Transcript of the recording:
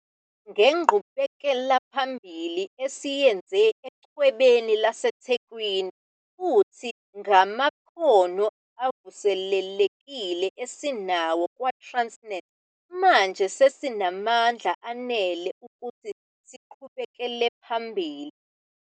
Ngenqubekelaphambili esiyenze Echwebeni laseThekwini, futhi ngamakhono avuselelekile esinawo kwaTransnet, manje sesinamandla anele ukuthi siqhubekele phambili.